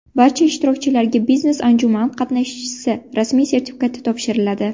Barcha ishtirokchilarga biznes-anjuman qatnashchisi rasmiy sertifikati topshiriladi.